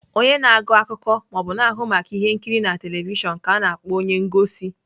Onye na-agụ akụkọ ma ọ bụ na-ahụ maka ihe nkiri na telivishọn ka a na-akpọ onye ngosi.